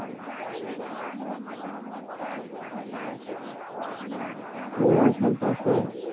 মিলন সম্পর্কে